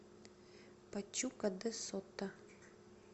пачука де сото